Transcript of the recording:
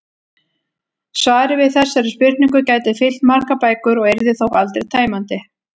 Svarið við þessari spurningu gæti fyllt margar bækur og yrði þó aldrei tæmandi.